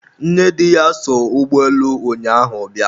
nnedi ya so ụgbọelu ụnyaahụ bịa